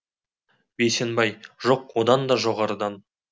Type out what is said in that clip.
бейсенбай жоқ одан да жоғарыдан